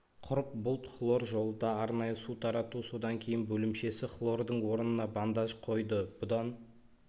құрып бұлт хлор жолында арнайы су тарату содан кейін бөлімшесі хлордың орнына бандаж қойды бұдан